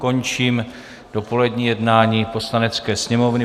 Končím dopolední jednání Poslanecké sněmovny.